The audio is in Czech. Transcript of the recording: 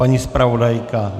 Paní zpravodajka?